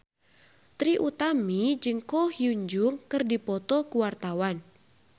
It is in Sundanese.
Trie Utami jeung Ko Hyun Jung keur dipoto ku wartawan